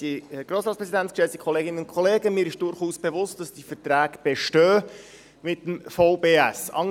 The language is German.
Mir ist einerseits durchaus bewusst, dass die Verträge mit dem VBS bestehen.